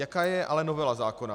Jaká je ale novela zákona?